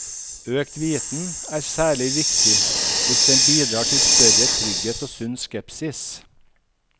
Økt viten er særlig viktig hvis den bidrar til større trygghet og sunn skepsis.